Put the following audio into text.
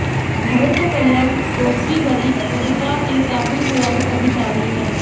घरत कल्याण डोंबिवली मनपा के काफी पुराने अधिकारी हैं